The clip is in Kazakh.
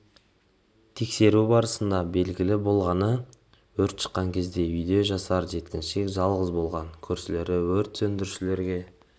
тексеру барысында белгілі болғаны өрт шыққан кезде үйде жасар жеткіншек жалғыз болған көршілері өрт сөндірушілер